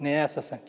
Nəyə əsasən?